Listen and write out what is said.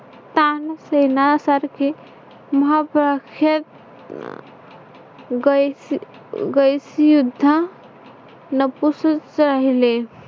तान सेनासारखे महा प्रख्यात गाईसी गायिसीयूध्दा नपुस नपुसक राहिले.